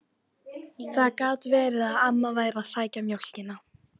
Það gat verið að amma væri að sækja mjólkina.